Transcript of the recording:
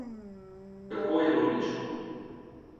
Kako ironično.